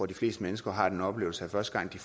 de fleste mennesker har den oplevelse første gang de